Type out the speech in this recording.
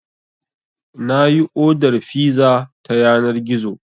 Na yi odar fiza ta yanar gizo.